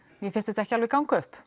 mér finnst þetta ekki alveg ganga upp